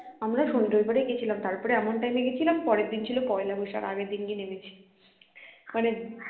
আমরা শনি রবিবারেই গেছিলাম তারপরে এমন time এ গেছিলাম পরের দিন ছিল পহেলা বৈশাখ আগের দিনকে নেমেছি মানে